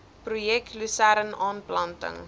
projek lusern aanplanting